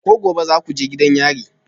Ko gobe za ku je gidan yari?